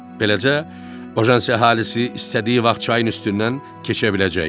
Beləcə, Bojansi əhalisi istədiyi vaxt çayın üstündən keçə biləcəkdi.